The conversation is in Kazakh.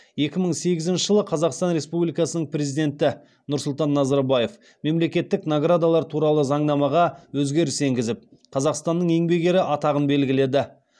екі мың сегізінші жылы қазақстан республикасының президенті нұрсүлтан назарбаев мемлекеттік наградалар туралы заңнамаға өзгеріс енгізіп қазақстанның еңбек ері атағын белгіледі